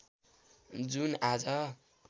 जुन आज